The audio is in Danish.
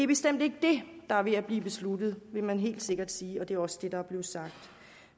bestemt ikke det der er ved at blive besluttet vil man helt sikkert sige og det er også det der er blevet sagt